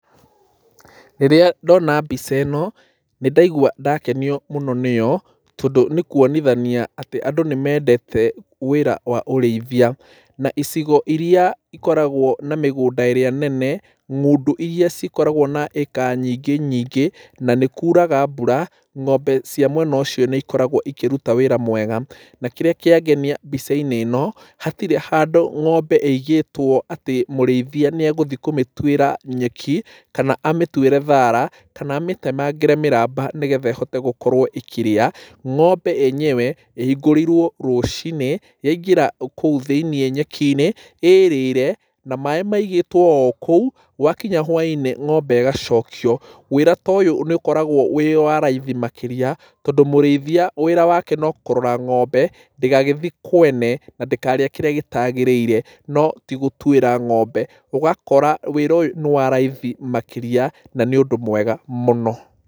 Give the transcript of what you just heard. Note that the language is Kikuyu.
Rĩrĩa ndona mbica ĩno, nĩ ndaigua ndakenio mũno nĩyo, tondũ nĩ kuonithania atĩ andũ nĩ mendete wĩra wa ũrĩithia. Na icigo irĩa ikoragwo na mĩgũnda ĩrĩa nene, ng'ũndũ irĩa cikoragwo na ĩĩka nyingĩ nyingĩ, na nĩ kuuraga mbura, ng'ombe cia mwena ũcio nĩ ikoragwo ikĩruta wĩra mwega. Na kĩrĩa kĩangenia mbica-inĩ ĩno, hatirĩ handũ ng'ombe ĩigĩtwo atĩ mũrĩithia nĩ egũthi kũmĩtuĩra nyeki, kana amĩtuĩre thaara, kana amĩtemangĩre mĩramba nĩgetha ĩhote gũkorwo ĩkĩrĩa. Ng'ombe yenyewe, ĩhingũrĩirwo rũcinĩ, yaingĩra kũu thĩiniĩ nyeki-inĩ, ĩrĩre, na maaĩ maigĩtwo o kũu, gwakinya hwainĩ ng'ombe ĩgacokio. Wĩra ta ũyũ nĩ ũkoragwo wĩ wa raithi makĩria, tondũ mũrĩithia wĩra wake no kũrora ng'ombe, ndĩgagĩthi kwene, na ndĩkarĩe kĩrĩa gĩtagĩrĩire, no ti gũtuĩra ng'ombe. Ũgakora wĩra ũyũ nĩ wa raithi makĩria, na nĩ ũndũ mwega mũno.